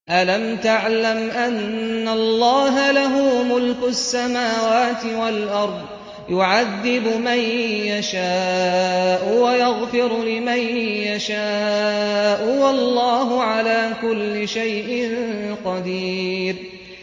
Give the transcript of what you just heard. أَلَمْ تَعْلَمْ أَنَّ اللَّهَ لَهُ مُلْكُ السَّمَاوَاتِ وَالْأَرْضِ يُعَذِّبُ مَن يَشَاءُ وَيَغْفِرُ لِمَن يَشَاءُ ۗ وَاللَّهُ عَلَىٰ كُلِّ شَيْءٍ قَدِيرٌ